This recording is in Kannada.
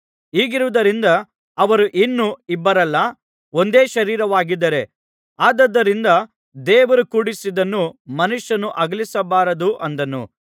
ಹೀಗಿರುವುದರಿಂದ ಅವರು ಇನ್ನು ಇಬ್ಬರಲ್ಲ ಒಂದೇ ಶರೀರವಾಗಿದ್ದಾರೆ ಆದುದರಿಂದ ದೇವರು ಕೂಡಿಸಿದ್ದನ್ನು ಮನುಷ್ಯನು ಅಗಲಿಸಬಾರದು ಅಂದನು